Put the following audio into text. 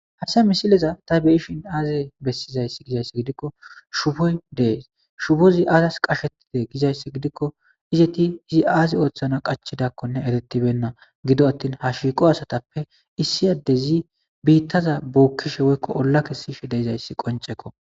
Haysa misileza ta beyshin aze besizaysi gizaysa gidikko shoboy dees shobozi azzas qashetide gizaysa gidikko izzeti izi azzi othana qachidakkonne eretibeyna gido attin ha shiqo asatappe issi adezi bittaza bokishe de'es woykon olla kesishe dizaysi qonc'ekko.